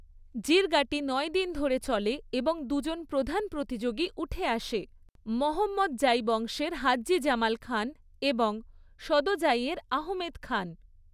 জিরগাটি নয় দিন ধরে চলে এবং দুজন প্রধান প্রতিযোগী উঠে আসে, মোহাম্মদজাই বংশের হাজ্জি জামাল খান এবং সদোজাইয়ের আহমেদ খান।